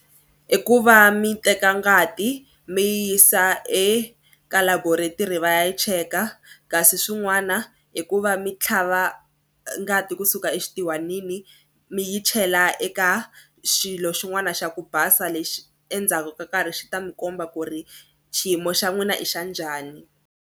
I ku va mi teka ngati mi yisa eka laboratory va ya cheka kasi swin'wana i ku va mi tlhava ngati kusuka exitihwanini mi yi chela eka xilo xin'wana xa ku basa lexi endzhaku ka nkarhi xi ta mi komba ku ri xiyimo xa n'wina i xa njhani.